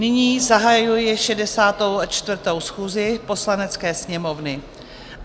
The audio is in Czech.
Nyní zahajuji 64. schůzi Poslanecké sněmovny.